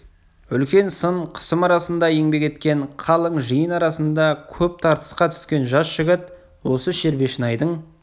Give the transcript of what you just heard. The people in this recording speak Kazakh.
үлкен сын қысым арасында еңбек еткен қалың жиын арасында көп тартысқа түскен жас жігіт осы шербешнайдың